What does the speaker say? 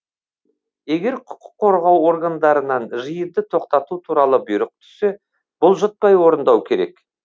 егер құқық қорғау органдарынан жиынды тоқтату туралы бұйрық түссе бұлжытпай орындау керек